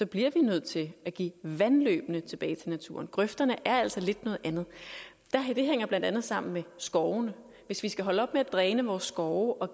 bliver vi nødt til at give vandløbene tilbage til naturen grøfterne er altså lidt noget andet det hænger blandt andet sammen med skovene hvis vi skal holde op med at dræne vores skove og